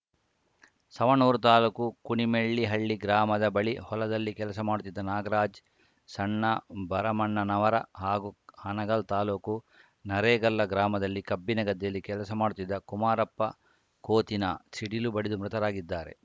ಸವಣೂರ ತಾಲೂಕು ಕುಣಿಮೆಳ್ಳಿಹಳ್ಳಿ ಗ್ರಾಮದ ಬಳಿ ಹೊಲದಲ್ಲಿ ಕೆಲಸ ಮಾಡುತ್ತಿದ್ದ ನಾಗರಾಜ್‌ ಸಣ್ಣಭರಮಣ್ಣನವರ ಹಾಗೂ ಹಾನಗಲ್‌ ತಾಲೂಕು ನರೇಗಲ್ಲ ಗ್ರಾಮದಲ್ಲಿ ಕಬ್ಬಿನ ಗದ್ದೆಯಲ್ಲಿ ಕೆಲಸ ಮಾಡುತ್ತಿದ್ದ ಕುಮಾರಪ್ಪ ಕೋತಿನ ಸಿಡಿಲು ಬಡಿದು ಮೃತರಾಗಿದ್ದಾರೆ